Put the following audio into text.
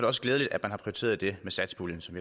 også glædeligt at man har prioriteret det med satspuljen som